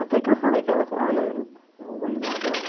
Até que eu falei com ela, ah mas eu não vou ir lá não.